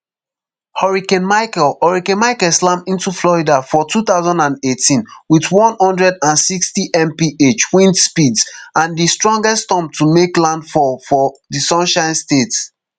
hurricane michael hurricane michael slam into florida for two thousand and eighteen wit one hundred and sixtymph wind speeds and di strongest storm to make landfall for di sunshine state